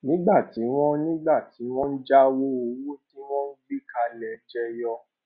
nígbà tí wón nígbà tí wón jáwó owó tí wọn gbé kalẹ jẹyọ